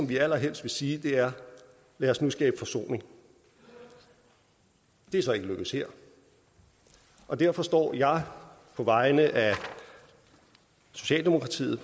vi allerhelst vil sige er lad os nu skabe forsoning det er så ikke lykkedes her derfor står jeg på vegne af socialdemokratiet